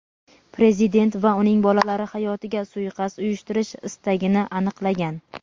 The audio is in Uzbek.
Prezident va uning bolalari hayotiga suiqasd uyushtirish istagini aniqlagan.